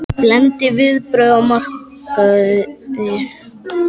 Blendin viðbrögð á markaði